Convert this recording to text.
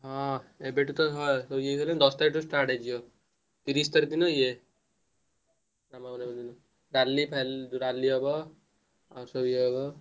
ହଁ ଏବେଠୁ ତ ଏ ହେଇଗଲାଣି ଦଶ ତାରିଖ ଠୁ start ହେଇଯିବ ତିରିଶ ତାରିଖ ଦିନ ଇଏ ରାଲି ଫଲି ରାଲି ହବ ଆଉ ସବୁ ଇଏ ହବ